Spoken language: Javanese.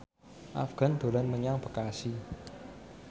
Afgan dolan menyang Bekasi